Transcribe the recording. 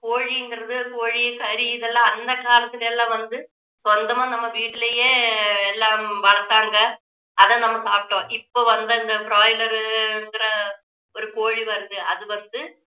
கோழிங்கறது கோழி கறி இதெல்லாம் அந்த காலத்துல எல்லாம் வந்து சொந்தமா நம்ம வீட்டிலேயே எல்லாம் வளத்தாங்க அதை நம்ம சாப்பிட்டோம் இப்போ வந்த இந்த broiler இதுல ஒரு கோழி வருது அது வந்து